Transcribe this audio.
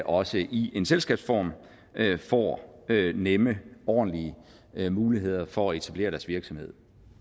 også i en selskabsform får nemme og ordentlige muligheder for at etablere deres virksomhed